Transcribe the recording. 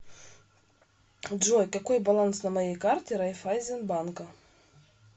джой какой баланс на моей карте райффайзенбанка